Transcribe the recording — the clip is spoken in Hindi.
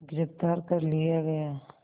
गिरफ़्तार कर लिया गया